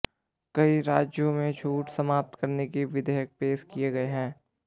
कई राज्यों में छूट समाप्त करने के विधेयक पेश किए गए हैं